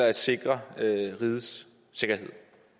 at sikre rigets sikkerhed